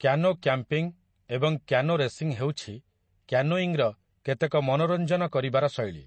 Canoe camping ଏବଂ canoe racing ହେଉଛି କ୍ୟାନୋଇଙ୍ଗ୍‌ର କେତେକ ମନୋରଞ୍ଜନ କରିବାର ଶୈଳୀ ।